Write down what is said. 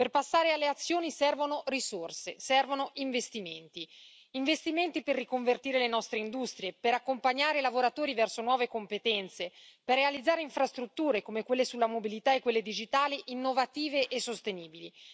Per passare alle azioni, servono risorse, servono investimenti investimenti per riconvertire le nostre industrie, per accompagnare i lavoratori verso nuove competenze, per realizzare infrastrutture, come quelle sulla mobilità e quelle digitali, innovative e sostenibili.